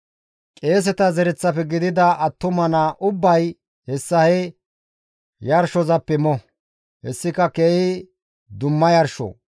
Qeeseta zereththafe gidida attuma naa ubbay hessa he yarshozappe mo; hessika keehi dumma yarsho.